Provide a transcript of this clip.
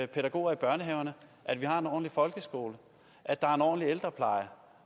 pædagoger i børnehaverne at vi har en ordentlig folkeskole at der er en ordentlig ældrepleje